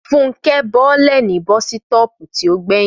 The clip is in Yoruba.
Fúnkẹ́ bọ́lẹ̀ ní bọ́sítọ̀ọ̀pù tí ó gbẹ̀yìn